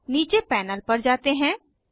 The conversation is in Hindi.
अब नीचे पैनल पर जाते हैं